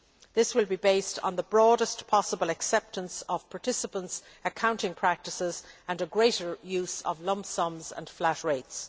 This will be based on the broadest possible acceptance of participants' accounting practices and a greater use of lump sums and flat rates.